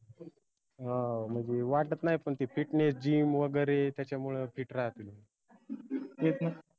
हाओ म्हनजे वाटत नाई पन ते fitnessgym वगैरे त्याच्यामुळ fit राहाते